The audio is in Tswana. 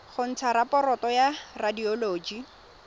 go ntsha raporoto ya radioloji